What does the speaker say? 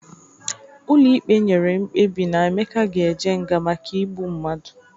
Ụlọ ikpe nyere mkpebi na Emeka ga-eje nga maka igbu mmadụ.